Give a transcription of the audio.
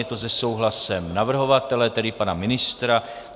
Je to se souhlasem navrhovatele, tedy pana ministra.